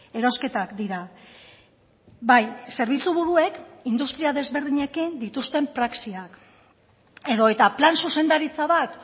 erosketak dira bai zerbitzuburuek industria desberdinekin dituzten praxiak edota plan zuzendaritza bat